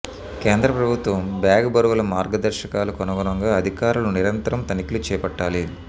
కేంద్ర ప్రభుత్వం bag బరువుల మార్గదర్శకాలకు అనుగుణంగా అధికారులు నిరంతరం తనిఖీ లు చేపట్టాలి